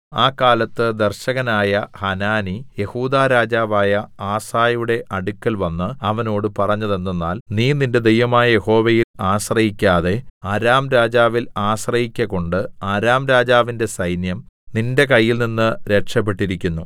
ആ കാലത്ത് ദർശകനായ ഹനാനി യെഹൂദാ രാജാവായ ആസയുടെ അടുക്കൽവന്ന് അവനോട് പറഞ്ഞത് എന്തെന്നാൽ നീ നിന്റെ ദൈവമായ യഹോവയിൽ ആശ്രയിക്കാതെ അരാം രാജാവിൽ ആശ്രയിക്ക കൊണ്ട് അരാം രാജാവിന്റെ സൈന്യം നിന്റെ കയ്യിൽനിന്ന് രക്ഷപെട്ടിരിക്കുന്നു